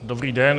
Dobrý den.